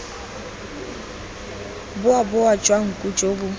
boboa jwa nku jo bo